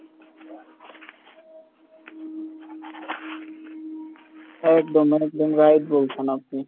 একদম একদম right বলছেন আপনি।